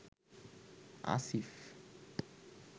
Asif